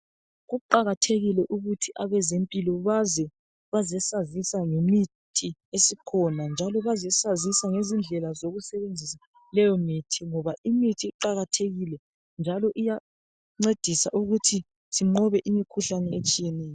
kuqakathekile ukuthi abezempilo baze bazesazisa ngemithi esikhona njalo bazesazisa ngezindlela zokusebenzisa leyomithi ngoba imithi iqakathekile njalo iyancedisa ukuthi sinqobe imkhuhlne etshiyeneyo